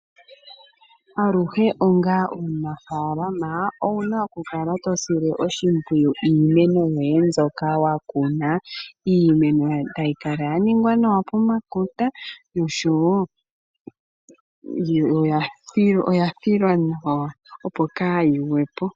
Aluhe onga omunafaalama owuna okukala to sile oshimpwiyu iimeno yoye mbyoka wa kuna. Iimeno tayi kala ya ningwa nawa pomakota oshowo oya filwa nawa opo kaayi gwepo.